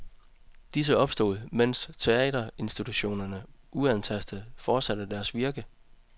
Disse opstod, mens teaterinstitutionerne uantastet fortsatte deres virke.